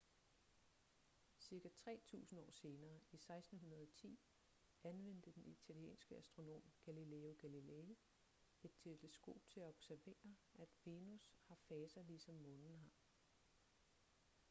cirka tre tusinde år senere i 1610 anvendte den italienske astronom galileo galilei et teleskop til at observere at venus har faser ligesom månen har